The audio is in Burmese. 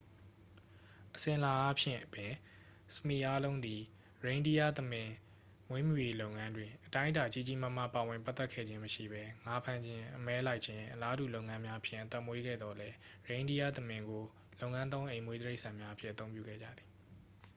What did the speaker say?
အစဉ်အလာအားဖြင့်ပင် စမီ အားလုံးသည် ရိန်းဒီးယားသမင် မွေးမြူရေးလုပ်ငန်းတွင် အတိုင်းအတာ ကြီးကြီးမားမား ပါဝင်ပတ်သက်ခဲ့ခြင်းမရှိဘဲ ငါးဖမ်းခြင်း အမဲလိုက်ခြင်း အလားတူလုပ်ငန်းများဖြင့် အသက်မွေးခဲ့သော်လည်း ရိန်းဒီးယားသမင်ကို လုပ်ငန်းသုံးအိမ်မွေးတိရိစ္ဆာန်များအဖြစ် အသုံးပြုခဲ့ကြသည်